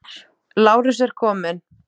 Lárus er kominn.